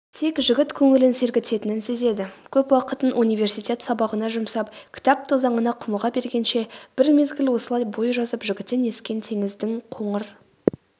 тек жігіт көңілін сергітетінін сезеді көп уақытын университет сабағына жұмсап кітап тозаңына құмыға бергенше бір мезгіл осылай бой жазып жігіттен ескен теңіздің қоңыр